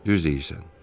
Düz deyirsən.